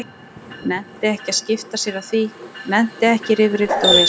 Nennti ekki að skipta sér af því, nennti ekki í rifrildi og vesen.